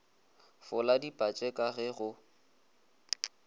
fola dipatše ka ge go